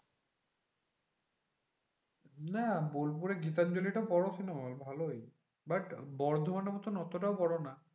না বোলপুরে গীতাঞ্জলিটা বড় cinema hall ভালোই। but বর্ধমানের মতন অতটাও বড় না।